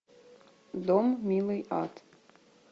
дом милый ад